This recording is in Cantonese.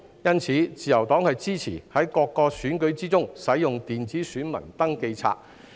因此，自由黨支持在各個選舉中使用電子選民登記冊。